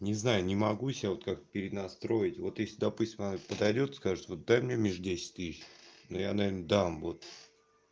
не знаю не могу сел как перенастроить вот и сюда пусть подойдёт скажет дай мне миш десять тысяч но я наверно дам вот